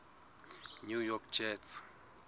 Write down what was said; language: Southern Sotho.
new york jets